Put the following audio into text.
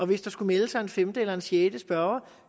hvis der skulle melde sig en femte eller sjette spørger